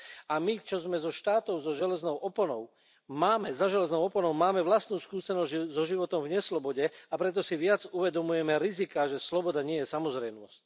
A my, čo sme zo štátov za železnou oponou, máme vlastnú skúsenosť so životom v neslobode, a preto si viac uvedomujeme riziká, že sloboda nie je samozrejmosť.